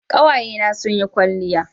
kawaye na sun yi kwalliya